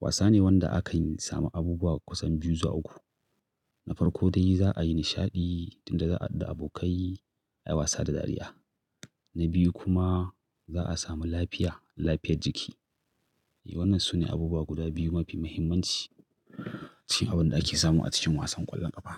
Wasa ne wanda akan samu abubuwa kusan biyu zuwa uku. Na farko dai za'a yi nishaɗi, tunda za'a haɗu da abokai ayi wasa da dariya. Na biyu kuma za'a samu lafiya, lafiyar jiki. Eh, wannan sune abubuwa guda biyu mafi muhimmanci a cikin abin da ake samu a cikin wasan ƙwallon ƙafa.